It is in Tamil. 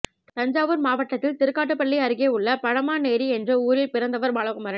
தஞ்சாவூர் மாவட்டத்தில் திருக்காட்டுப்பள்ளி அருகே உள்ள பழமார்நேரி என்ற ஊரில் பிறந்தவர் பாலகுமாரன்